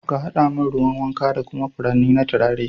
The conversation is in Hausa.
ka haɗa min ruwan wanka da kuma furanni da turare.